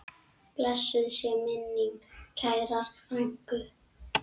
Blessuð sé minning kærrar frænku.